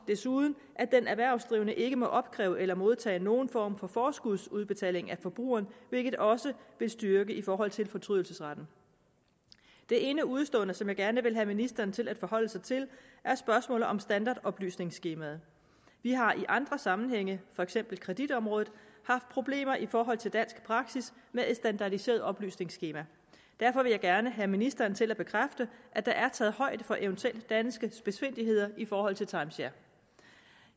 desuden at den erhvervsdrivende ikke må opkræve eller modtage nogen form for forskudsbetaling af forbrugeren hvilket også vil styrke i forhold til fortrydelsesret det ene udestående som jeg gerne vil have ministeren til at forholde sig til er spørgsmålet om standardoplysningsskemaet vi har i andre sammenhænge for eksempel på kreditområdet haft problemer i forhold til dansk praksis med et standardiseret oplysningsskema derfor vil jeg gerne have ministeren til at bekræfte at der er taget højde for eventuelle danske spidsfindigheder i forhold til timeshare